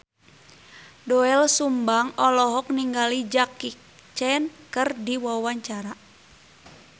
Doel Sumbang olohok ningali Jackie Chan keur diwawancara